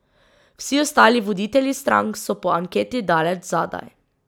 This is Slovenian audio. Vsi ostali voditelji strank so po anketi daleč zadaj.